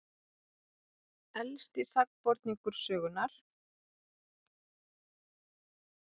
Elsti sakborningur sögunnar